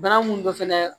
Bana mun don fɛnɛ